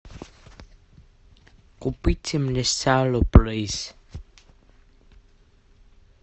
купите мне сало плиз